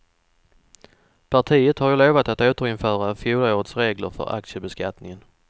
Partiet har ju lovat att återinföra fjolårets regler för aktiebeskattningen.